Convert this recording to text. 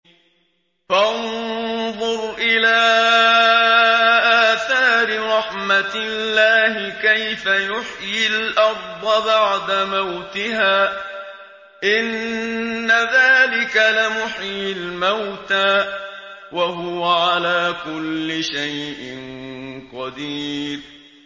فَانظُرْ إِلَىٰ آثَارِ رَحْمَتِ اللَّهِ كَيْفَ يُحْيِي الْأَرْضَ بَعْدَ مَوْتِهَا ۚ إِنَّ ذَٰلِكَ لَمُحْيِي الْمَوْتَىٰ ۖ وَهُوَ عَلَىٰ كُلِّ شَيْءٍ قَدِيرٌ